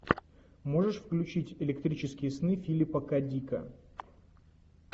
можешь включить электрические сны филипа к дика